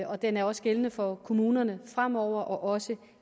den også er gældende for kommunerne fremover og også